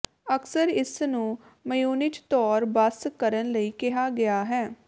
ਅਕਸਰ ਇਸ ਨੂੰ ਮ੍ਯੂਨਿਚ ਤੌਰ ਬਸ ਕਰਨ ਲਈ ਕਿਹਾ ਗਿਆ ਹੈ